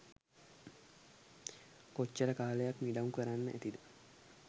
කොච්චර කාලයක් මිඩංගු කරන්න ඇතිද